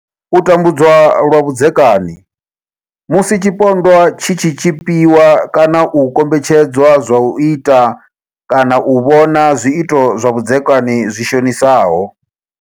U tambudzwa lwa vhudzekani Musi tshipondwa tshi tshi tshipiwa kana u kombetshedzwa zwa u ita kana u vhona zwiito zwa vhudzekani zwi shonisaho.